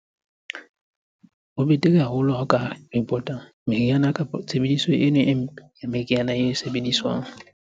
Ho betere haholo ha o ka report-a meriana kapa tshebediso eno e mpe e sebediswang.